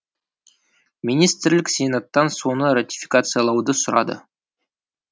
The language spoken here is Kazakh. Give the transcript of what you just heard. министрлік сенаттан соны ратификациялауды сұрады